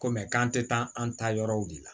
Ko mɛ k'an tɛ taa an taayɔrɔw de la